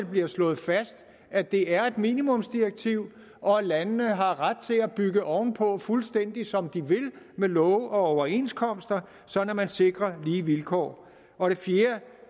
bliver slået fast at det er et minimumsdirektiv og at landene har ret til at bygge oven på fuldstændig som de vil med love og overenskomster sådan at man sikrer lige vilkår og det fjerde